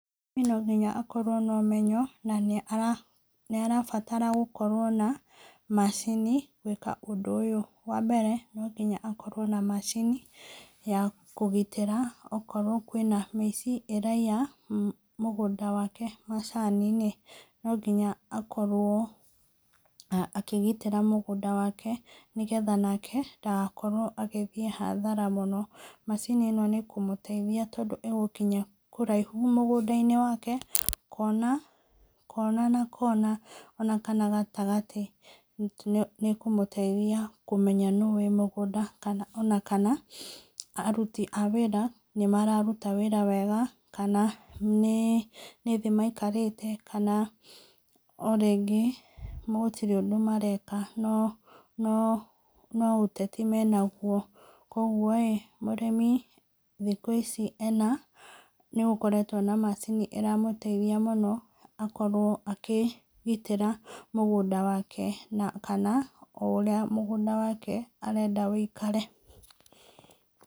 No nginya akorwo na ũmenyo, na nĩ arabatara gũkorwo na macini gwĩka ũndũ ũyũ . Wa mbere, no nginya akorwo na macini, ya kũgitĩra okorwo kũrĩ na mĩici ĩraiya mũgũnda wake, macani-inĩ. No nginya akorwo akĩgitĩra mũgũnda wake, nĩgetha nake ndagakorwo agĩthiĩ hathara mũno. Macini ĩno nĩĩkũmũteithia agũkinya kũraihu mũgũndaiini wake. Kona na Kona ona kana gatagatĩ nĩ ĩkũmũteithia kũmenya nũ ũrĩ mũgũnda, ona kana aruti a wĩra, kana nĩ mararuta wĩra wega, kana nĩ thĩ maikarĩte, kana o rĩngĩ gũtirĩ ũndũ mareka, no, no ũteti me naguo. Koguo rĩ, mũrĩmi thikũ ici nĩ gũkoretwo na macini ĩra mũteithia mũno, akorwo akĩgitĩra mũgũnda wake na kana o ũrĩa mũgũnda wake arenda ũikare.